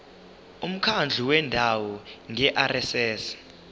umkhandlu wendawo ngerss